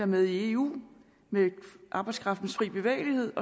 med i eu med arbejdskraftens fri bevægelighed